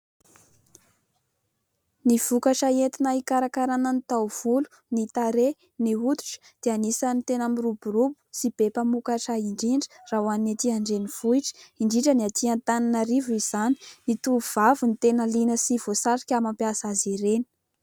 Ny vokatra entina hikarakarana ny taovolo, ny tarehy, ny hoditra dia anisany tena miroborobo sy be mpamokatra indrindra raha ho an'ny etỳ an-drenivohitra indrindra ny atỳ Atananarivo izany. Ny tovavy no tena liana sy voasarika mampiasa azy ireny.